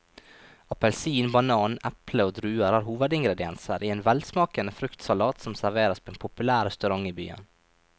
Appelsin, banan, eple og druer er hovedingredienser i en velsmakende fruktsalat som serveres på en populær restaurant i byen.